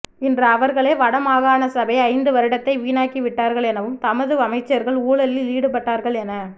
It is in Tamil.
இன்று அவர்களே வடமாகாண சபை ஐந்து வருடத்தை வீணாக்கி விட்டார்கள் எனவும் தமது அமைச்சர்கள் ஊழலில் ஈடுபட்டார்கள் என